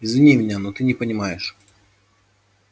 извини меня но ты не понимаешь